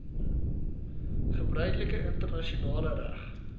gebruiklike internasionale reg